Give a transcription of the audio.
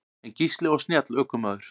En Gísli var snjall ökumaður.